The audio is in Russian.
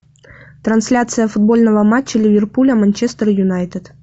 трансляция футбольного матча ливерпуля манчестер юнайтед